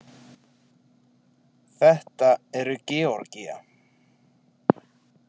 Þetta eru Georgía.